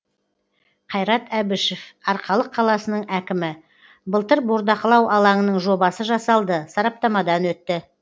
қайрат әбішев арқалық қаласының әкімі былтыр бордақылау алаңының жобасы жасалды сараптамадан өтті